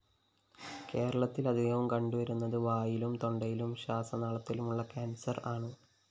കേരളത്തില്‍ അധികവും കണ്ടുവരുന്നത് വായിലും തൊണ്ടയിലും ശ്വാസനാളത്തിലുമുള്ള കാന്‍സര്‍ ആണ്